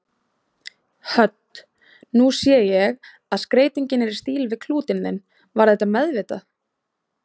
Hödd: Nú sé ég að skreytingin er í stíl við klútinn þinn, var þetta meðvitað?